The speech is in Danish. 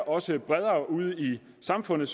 også bredere ude i samfundet